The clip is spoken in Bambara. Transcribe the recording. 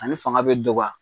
Ale fanga bi dɔgɔya